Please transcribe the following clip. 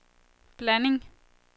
blanding